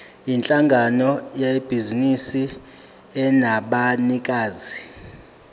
yinhlangano yebhizinisi enabanikazi